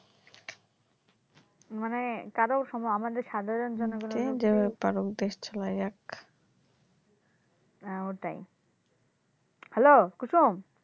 মানে কাদাও সময় আমাদের সাধারন জনগনের হ্যা ওটাই হ্যালো কুসুম